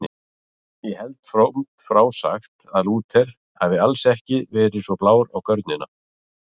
Ég held frómt frá sagt að Lúther hafi alls ekki verið svo blár á görnina.